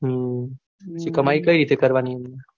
હમ પછી કમાઈ કઈ રીતે કરવાની એમને.